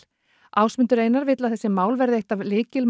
Ásmundur Einar vill að þessi mál verði eitt af